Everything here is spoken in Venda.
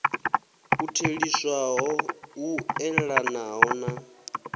u theliswaho u eḓanaho na